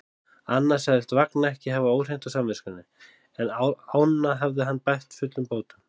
Annað sagðist Vagn ekki hafa óhreint á samviskunni, en ána hafði hann bætt fullum bótum.